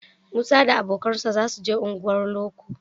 Musa da abokansa za su je unguwar loko